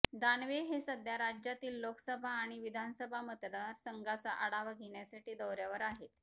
दानवे हे सध्या राज्यातील लोकसभा आणि विधानसभा मतदार संघाचा आढावा घेण्यासाठी दौऱ्यावर आहेत